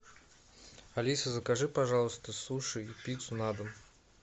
алиса закажи пожалуйста суши и пиццу на дом